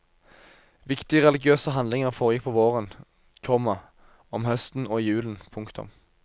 Viktige religiøse handlinger foregikk på våren, komma om høsten og i julen. punktum